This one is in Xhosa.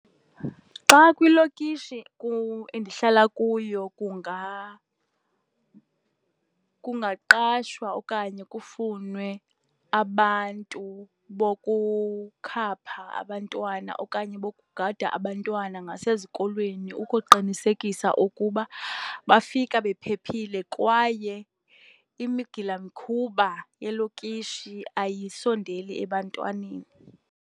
Xa kwilokishi endihlala kuyo kungaqashwa okanye kufunwe abantu bokukhapha abantwana okanye bokugada abantwana ngasezikolweni, ukuqinisekisa ukuba bafika bephephile kwaye imigilamkhuba yelokishi ayisondeli ebantwaneni.